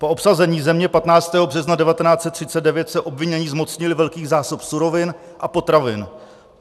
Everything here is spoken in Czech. Po obsazení země 15. března 1939 se obvinění zmocnili velkých zásob surovin a potravin.